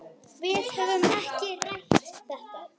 Við höfum ekki rætt þetta.